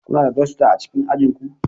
Kuna da dasta a cikin ajin ku